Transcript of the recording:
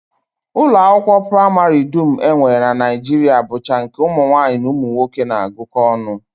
Ụlọakwụkwọ praịmarị dum e nwere na Naijiria bụcha nke ụmụnwaanyị na ụmụnwoke na-agụkọ ọnụ